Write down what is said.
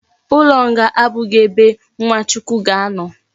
Ulo nga abughi ebe nwa chukwu ga ano